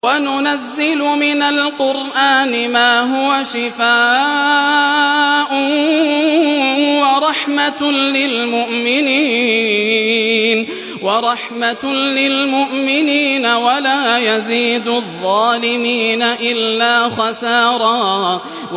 وَنُنَزِّلُ مِنَ الْقُرْآنِ مَا هُوَ شِفَاءٌ وَرَحْمَةٌ لِّلْمُؤْمِنِينَ ۙ وَلَا يَزِيدُ الظَّالِمِينَ إِلَّا خَسَارًا